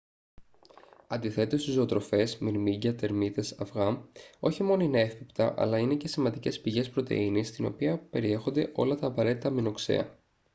αντιθέτως οι ζωoτροφές μυρμήγκια τερμίτες αυγά όχι μόνο είναι εύπεπτα αλλά είναι και σημαντικές πηγές πρωτεΐνης στην οποία περιέχονται όλα τα απαραίτητα αμινοξέα